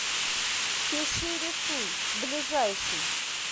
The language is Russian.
пиширисуй ближайший